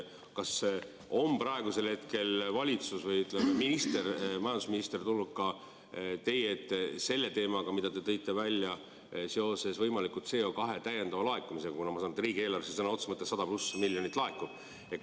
Kas valitsus või majandusminister on tulnud teie ette selle teemaga, mille te tõite välja seoses võimaliku CO2 täiendava laekumisega, kuna ma saan aru, et riigieelarvesse laekub sõna otseses mõttes 100+ miljonit?